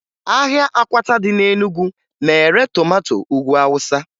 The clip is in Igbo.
Ahịa akwata dị na Enugu na-ere tomato Ugwu Awụsa